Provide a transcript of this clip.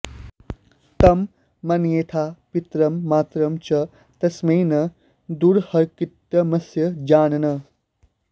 तं मन्येथाः पितरं मातरं च तस्मै न द्रुह्येत्कृतमस्य जानन्